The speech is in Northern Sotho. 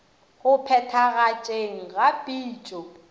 go phethagatšeng ga pitšo ya